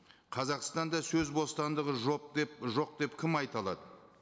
қазақстанда сөз бостандығы жоқ деп жоқ деп кім айта алады